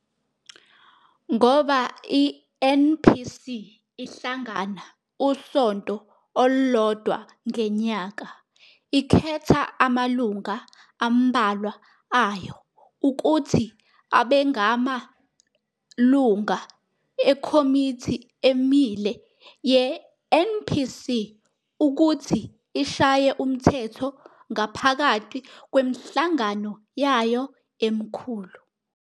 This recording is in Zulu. Ngoba i-NPC ihlangana usonto olodwa ngenyaka, ikhetha amalunga ambalwa ayo ukuthi abengama lunga eKhomithi Emile ye-NPC ukuthi ishaye umthetho ngaphakati kwemihlangano yayo emkhulu.